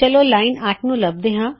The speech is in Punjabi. ਚਲੋ ਲਾਇਨ 8 ਨੂੰ ਲਭਦੇ ਹਾਂ